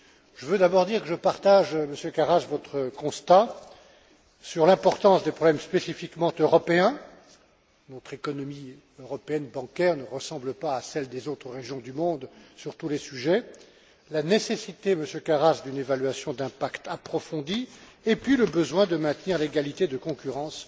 Je veux d'abord dire que je partage, Monsieur Karas, votre constat sur l'importance des problèmes spécifiquement européens notre économie bancaire européenne ne ressemble pas à celle des autres régions du monde sur tous les sujets la nécessité, Monsieur Karas, d'une évaluation d'impact approfondie et le besoin de maintenir l'égalité de concurrence